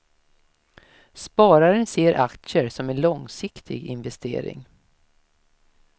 Spararen ser aktier som en långsiktig investering.